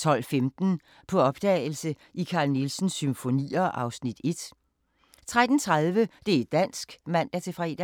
12:15: På opdagelse i Carl Nielsens symfonier (Afs. 1) 13:30: Det' dansk (man-fre)